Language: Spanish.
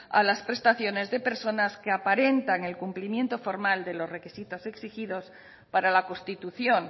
a las prestaciones de personas que aparentan el cumplimiento formal de los requisitos exigidos para la constitución